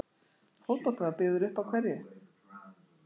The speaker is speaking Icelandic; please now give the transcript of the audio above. Fótboltinn var byggður upp á hverju?